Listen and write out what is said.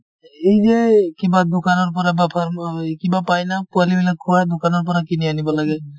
এই যে কিবা দোকানৰ পৰা বা ফৰ্ম কিবা পাই না পোৱালি বিলাক খোৱা দোকানৰ পৰা কিনি আনিব লাগে।